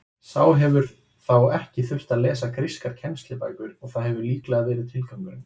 Sá hefur þá ekki þurft að lesa grískar kennslubækur og það hefur líklega verið tilgangurinn.